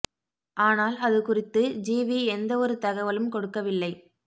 ஆனால் அது குறித்து ஜிவி எந்த ஒரு தகவலும் கொடுக்கவில்லை